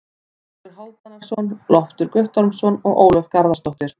Guðmundur Hálfdanarson, Loftur Guttormsson og Ólöf Garðarsdóttir.